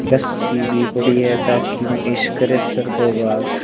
रस्सी भी पड़ी है ताकि सर को आज--